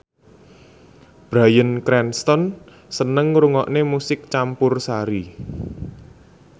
Bryan Cranston seneng ngrungokne musik campursari